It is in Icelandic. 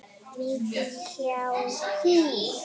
hjá HÍ.